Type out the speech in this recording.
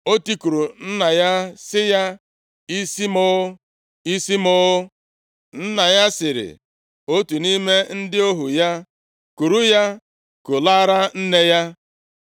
O tikuru nna ya sị ya, “Isi m o, isi m o!” Nna ya sịrị otu nʼime ndị ohu ya, “Kuru ya kulaara nne ya.”